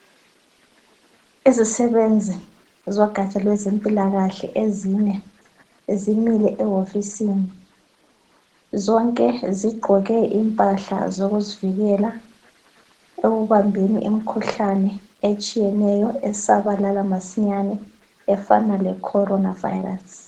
Izisebenzi zogatsha lwezempilakahle ezine zimile ehofisini zonke zigqoke impahla zokuzivikela ekubambeni imikhuhlane etshiyeneyo esabalala masinyane efana le "Corona virus".